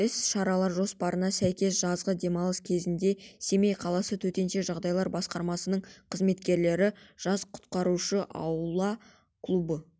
іс-шаралар жоспарына сәйкес жазғы демалыс кезеңінде семей қаласы төтенше жағдайлар басқармасының қызметкерлері жас құтқарушы аула клубы